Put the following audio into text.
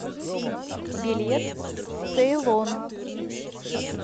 билет цейлон